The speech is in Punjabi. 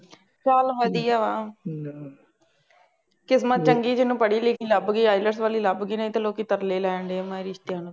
ਚੱਲ ਵਧੀਆ ਵਾ, ਕਿਸਮਤ ਚੰਗੀ ਜਿਹਨੂੰ ਪੜ੍ਹੀ ਲਿਖੀ ਲੱਭ ਗਈ IELTS ਵਾਲੀ ਲੱਭ ਗਈ, ਨਹੀਂ ਤਾਂ ਲੋਕੀ ਤਰਲੇ ਲੈਣ ਡੇ ਆ ਮ ਰਿਸ਼ਤਿਆਂ ਨੂੰ